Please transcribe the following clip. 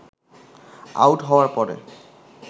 out হওয়ার পরে